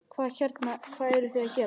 Hvað hérna, hvað eruð þið að gera?